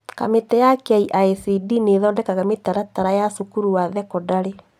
Kamĩtĩ ya KICD nĩthondekaga mĩtaratara ya cukuru wa thekondarĩ